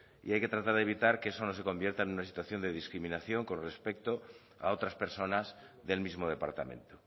y hay que tratar de evitar que eso no se convierta en una situación de discriminación con respecto a otras personas del mismo departamento